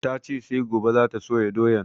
Ta ce sai gobe za ta soya doyan